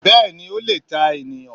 Béèni Ó lè ta ènìyàn